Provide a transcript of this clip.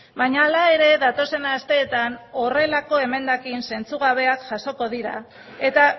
baina hala ere datozen asteetan horrelako emendakin zentzugabeak jasoko dira eta